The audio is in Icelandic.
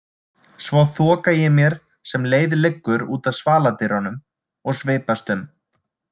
Svo þoka ég mér sem leið liggur út að svaladyrunum og svipast um.